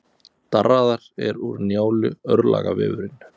Darraðar er úr Njálu, örlagavefurinn.